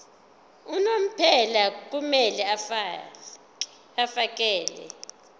unomphela kumele afakele